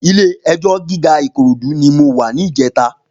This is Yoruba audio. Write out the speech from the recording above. Ilé èjò gigá Ikorodu ni mó wà nijètá